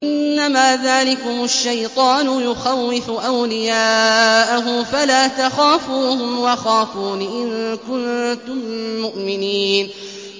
إِنَّمَا ذَٰلِكُمُ الشَّيْطَانُ يُخَوِّفُ أَوْلِيَاءَهُ فَلَا تَخَافُوهُمْ وَخَافُونِ إِن كُنتُم مُّؤْمِنِينَ